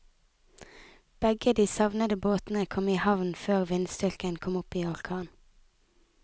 Begge de savnede båtene kom i havn før vindstyrken kom opp i orkan.